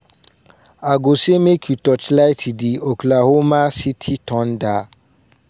"i go say make you torchlight di oklahoma city thunder.